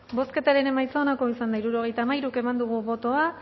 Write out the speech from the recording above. bozketaren emaitza onako izan da hirurogeita hamairu eman dugu bozka